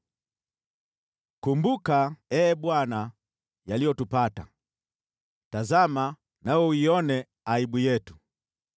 Kumbuka, Ee Bwana , yaliyotupata, tazama, nawe uione aibu yetu.